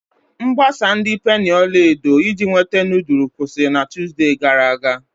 Mgbasa ndi penii ọla edo iji inwete nudulu kwụsịrị na Tuzdee gara aga.